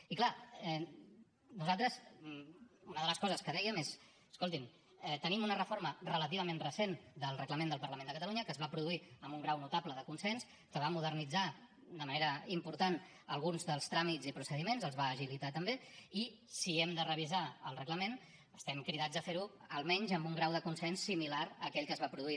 i és clar nosaltres una de les coses que dèiem és escoltin tenim una reforma relativament recent del reglament del parlament de catalunya que es va produir amb un grau notable de consens que va modernitzar de manera important alguns dels tràmits i procediments els va agilitar també i si hem de revisar el reglament estem cridats a fer ho almenys amb un grau de consens similar a aquell que es va produir